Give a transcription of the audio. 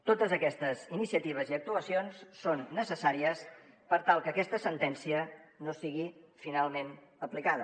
totes aquestes iniciatives i actuacions són necessàries per tal que aquesta sentència no sigui finalment aplicada